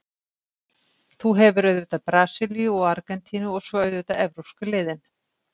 Þú hefur auðvitað Brasilíu og Argentínu og svo auðvitað evrópsku liðin.